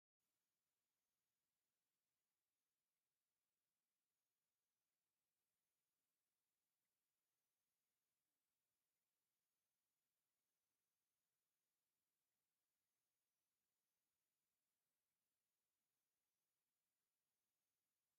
ሕክምና አብ ሓደ ናይ ሕክምና ክፍሊ ሓንቲ ፀሊም ቆቢዕን ማስክን ዝገበረት ሓኪም ንሓንቲ ቀይሕ ክዳን ዝተከደነት ሰበይቲ አብ ቆፃል ጣውላ ኮፍ ኢለን ምርመራ እናገበረት ትርከብ፡፡ እዚ ሕክምና አበይ ቦታ እዩ?